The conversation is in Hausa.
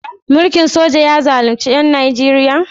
Mulkin soja ya zalunci ƴan Nijeriya?